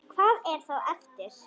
Hvað er þá eftir?